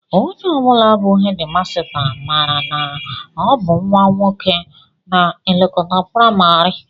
Onye ọ bụla bụ hedịmasta, mara na ọ bụ nnwa nwoke na-elekọta praịmarị